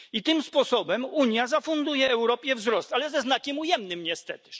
Tym sposobem Unia zafunduje Europie wzrost, ale ze znakiem ujemnym, niestety.